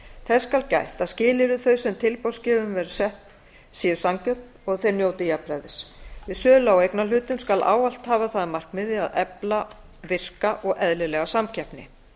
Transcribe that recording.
þess skal gætt að skilyrði þau sem tilboðsgjöfum eru sett séu sanngjörn og að þeir njóti jafnræðis við sölu á eignarhlutum skal ávallt hafa það að markmiði að efla virka og eðlilega samkeppni